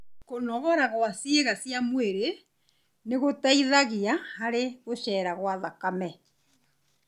Kũnogora gwa ciĩga cia mwĩrĩ nĩgũteithagia harĩ gũcera gwa thakame